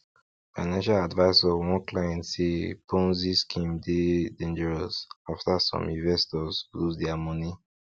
financial advisor warn clients say ponzi scheme dey dangerous after some investors lose their money